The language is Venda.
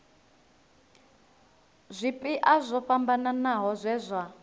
zwipia zwo fhambanaho zwe zwa